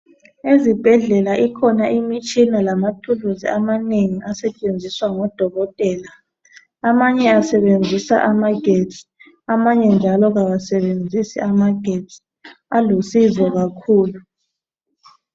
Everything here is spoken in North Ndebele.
Ezibhedlela ikhona imitshina lamathuluzi amanengi asetshenziswa ngodokotela amanye asebenzisa amagetsi amanye njalo kawasebenzisi amagetsi alusizo kakhulu.